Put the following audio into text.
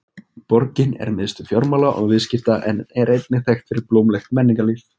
Borgin er miðstöð fjármála og viðskipta en er einnig þekkt fyrir blómlegt menningarlíf.